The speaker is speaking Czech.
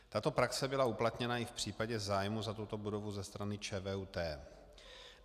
Tato praxe byla uplatněna i v případě zájmu o tuto budovu ze strany ČVUT.